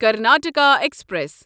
Karnataka express